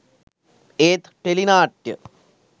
ඒත් ටෙලි නාට්‍ය